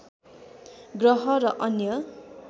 ग्रह र अन्य